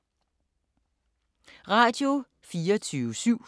Radio24syv